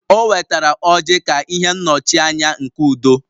O wetara ọrji ka ihe nnọchianya nke udo